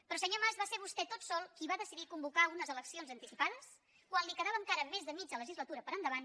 però senyor mas va ser vostè tot sol qui va decidir convocar unes eleccions anticipades quan li quedava encara més de mitja legislatura per endavant